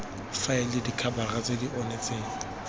faele dikhabara tse di onetseng